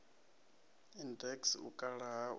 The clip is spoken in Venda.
index u kala ha u